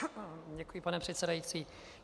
Děkuji, pane předsedající.